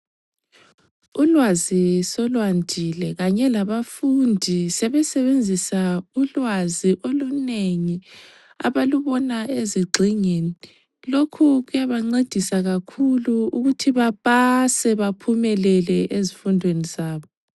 Ulwazi solwandile kanye labafundi sebesebenzisa ulwazi olunengi abalubona ezigxingini lokhu kuyabancedisa kakhulu ukuthi bapase baphumelele ezifundweni zabo.